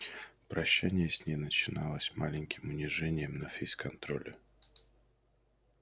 прощание с ней начиналось маленьким унижением на фейс-контроле